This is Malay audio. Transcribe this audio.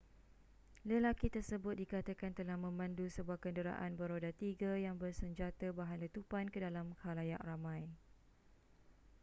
lelaki tersebut dikatakan telah memandu sebuah kenderaan beroda tiga yang bersenjata bahan letupan ke dalam khalayak ramai